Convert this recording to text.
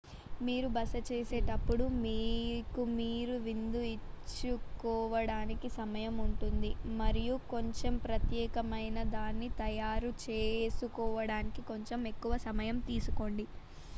మీరు బస చేసేటప్పుడు మీకు మీరు విందు ఇచ్చుకోడానికి సమయం ఉంటుంది మరియు కొంచెం ప్రత్యేకమైనదాన్ని తయారు చేసుకోడానికి కొంచెం ఎక్కువ సమయం తీసుకోండి